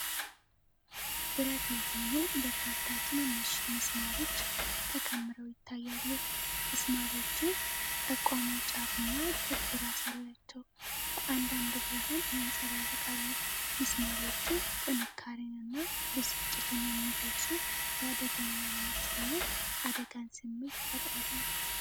ብረት የሆኑ በርካታ ትንንሽ ምስማሮች ተከምረው ይታያሉ። ምስማሮቹ ጠቋሚ ጫፍና ክብ ራስ አላቸው፤ በአንዳንድ ብርሃን ያንጸባርቃሉ። ምስማሮቹ፣ ጥንካሬንና ብስጭትን የሚገልፁ፣ የአደገኛነት እና አደጋን ስሜት ይፈጥራሉ።